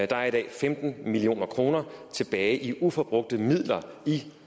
der i dag femten million kroner tilbage i uforbrugte midler i